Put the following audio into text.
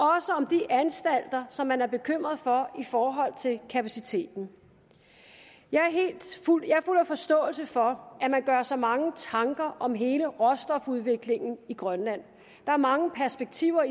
om de anstalter som man er bekymret for i forhold til kapaciteten jeg er fuld af forståelse for at man gør sig mange tanker om hele råstofudviklingen i grønland der er mange perspektiver